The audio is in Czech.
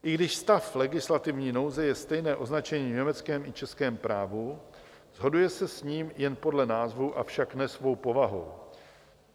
I když stav legislativní nouze je stejné označení v německém i v českém právu, shoduje se s ním jen podle názvu, avšak ne svou povahou.